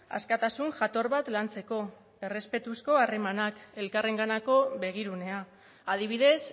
askatasun jator bat lantzeko errespetuzko harremanak elkarrenganako begirunea adibidez